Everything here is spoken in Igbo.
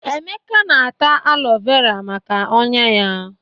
Emeka na-ata alo vera maka ọ́nyá ya.